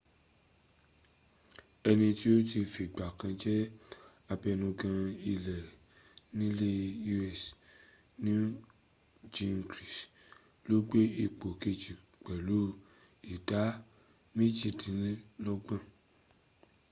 ẹni tí ó ti fìgbà kan jẹ́ abẹnugan ilé nílẹ̀ u.s newt gingrich ló gbé ipò kejì pẹ̀lú ìdá méjìlélọ́gbọ̀n